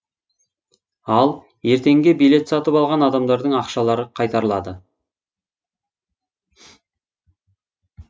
ал ертеңге билет сатып алған адамдардың ақшалары қайтарылады